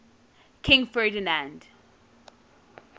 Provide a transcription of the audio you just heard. king ferdinand